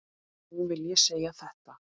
Nú vil ég segja þetta.